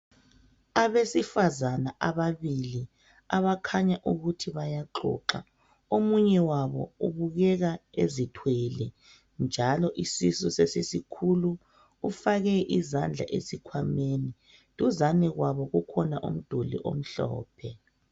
Abesifazana ababili. Abakhanya ukuthi bayaxoxa. Omunye wabo ubukeka ezithwele, njalo isisu sesisikhulu. Ufake izandla esikhwameni. Duzane kwabo, kukhona umduli omhlophe.